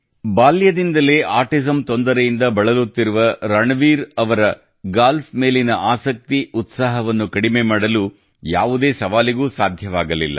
ಬಾಲ್ಯದಿಂದಲೇ ಆಟಿಸಂ ತೊಂದರೆಯಿಂದ ಬಳಲುತ್ತಿರುವ ರಣವೀರ್ ಅವರ ಗಾಲ್ಫ್ ಮೇಲಿನ ಆಸಕ್ತಿ ಉತ್ಸಾಹವನ್ನು ಕಡಿಮೆ ಮಾಡಲು ಯಾವುದೇ ಸವಾಲಿಗೂ ಸಾಧ್ಯವಾಗಲಿಲ್ಲ